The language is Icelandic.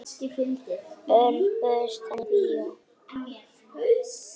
Örn, bauðstu henni í bíó?